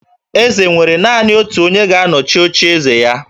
Eze nwere naanị otu onye ga-anọchi ocheeze ya